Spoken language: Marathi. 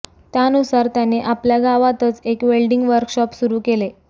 त्यानुसार त्याने आपल्या गावातच एक वेल्डिंग वर्कशॉप सुरु केले